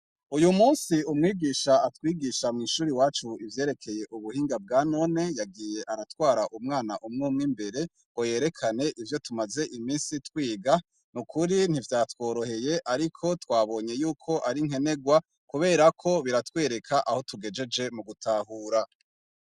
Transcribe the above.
Uyumunsi umwigisha atwugisha mwishure iwacu ivyerekeye ubuhinga bwanone yagiye aratwara umwana umwumwe imbere ngo yerekane ivyo tumaze iminsi twiga nukuri ntivyatworoheye ariko twaboye yuko ari nkenerwa kubera ko biratwereka aho tugejeje mugutahura